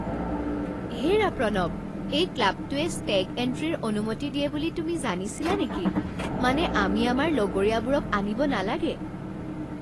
হেৰা প্ৰণৱ, এই ক্লাবটোৱে ষ্টেগ এণ্ট্ৰিৰ অনুমতি দিয়ে বুলি তুমি জানিছিলা নেকি? মানে আমি আমাৰ লগৰীয়াবোৰক আনিব নালাগে!